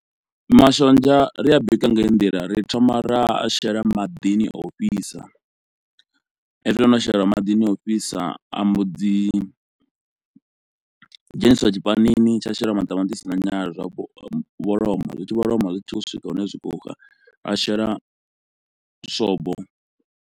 Mashonzha ri a bika nga heyi ndila ri thoma ra a shela maḓini o fhisa, hezwi o no shela maḓini o fhisa a mbo dzi dzheniswa tshipanini tsha shela maṱamaṱisi na nyala zwa vholoma, zwi tshi vholoma zwi tshi vho swika hune zwi khou xa a shela swobo.